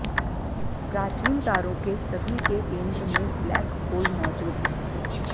प्राचीन तारों के सभी के केंद्र में ब्लैक होल मौजूद हैं